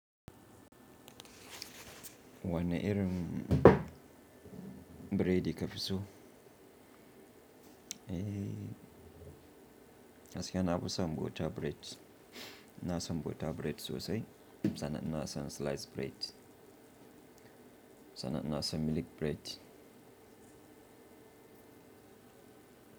Wanne irin burodi ka fi so? Eh, gaskiya na fi so bota bred, ina so san bota bred sosai. Sannan ina son slice bred. Sannan ina son milik bred.